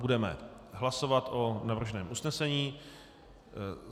Budeme hlasovat o navrženém usnesení.